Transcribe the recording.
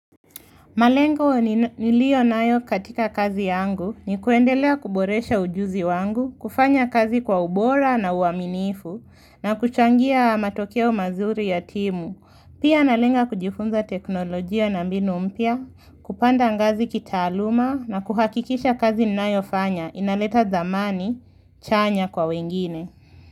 Malengo nilio nayo katika kazi yangu ni kuendelea kuboresha ujuzi wangu, kufanya kazi kwa ubora na uaminifu, na kuchangia matokeo mazuri yatimu. Pia analenga kujifunza teknolojia na mbinu mpya, kupanda ngazi kitaaluma na kuhakikisha kazi ninaifanya inaleta zamani chanya kwa wengine.